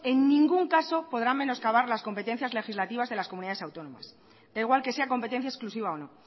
en ningún caso podrán menoscabar las competencias legislativas de las comunidades autónomas da igual que sea competencia exclusiva o no